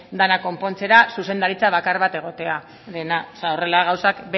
dena konpontzera zuzendaritza bakar bat egotearena horrela gauzak